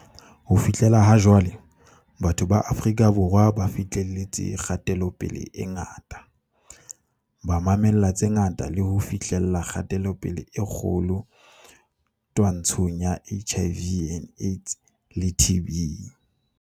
Ho fihlela ha jwale, batho ba Afrika Borwa ba fi hleletse kgatelopele e ngata, ba ma-mella tse ngata le ho fi hlella kgatelopele e kgolo twa-ntshong ya HIV, AIDS le TB.